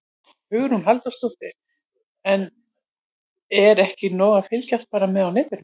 Hugrún Halldórsdóttir: En er ekki nóg að fylgjast bara með á netinu?